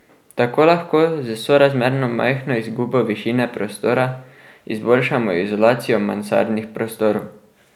Tako lahko z sorazmerno majhno izgubo višine prostora izboljšamo izolacijo mansardnih prostorov.